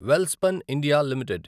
Welspun India limited